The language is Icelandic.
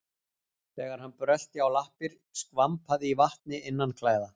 Þegar hann brölti á lappir skvampaði í vatni innanklæða.